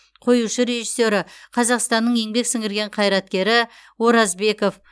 қоюшы режиссері қазақстанның еңбек сіңірген қайраткері оразбеков